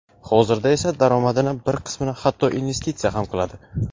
Hozirda esa daromadini bir qismini hatto investitsiya ham qiladi.